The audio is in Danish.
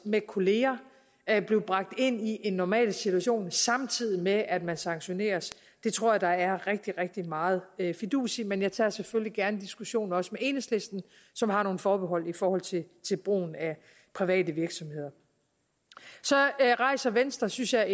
med kollegaer at blive bragt ind i en normal situation samtidig med at man sanktioneres tror jeg der er rigtig rigtig meget fidus i men jeg tager selvfølgelig gerne diskussionen også med enhedslisten som har nogle forbehold i forhold til brugen af private virksomheder så rejser venstre synes jeg